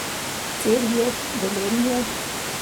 Celje, Velenje.